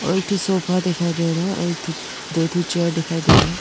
और एक ठो सोफा दिखाई दे रहा है और दो ठो चेयर दिखाई दे रहा है।